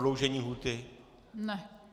Prodloužení lhůty?